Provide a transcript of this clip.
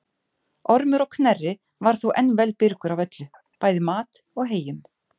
Ormur á Knerri var þó enn vel byrgur af öllu, bæði mat og heyjum.